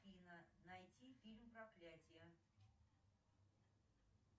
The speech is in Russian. афина найти фильм проклятие